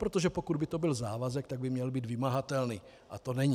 Protože pokud by to byl závazek, tak by měl být vymahatelný a to není.